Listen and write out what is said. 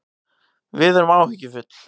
Við erum áhyggjufull